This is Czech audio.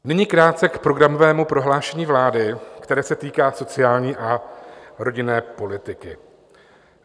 Nyní krátce k programovému prohlášení vlády, které se týká sociální a rodinné politiky.